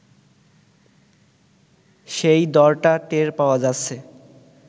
সেই দড়টা টের পাওয়া যাচ্ছে